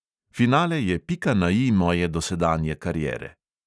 Finale je pika na I moje dosedanje kariere.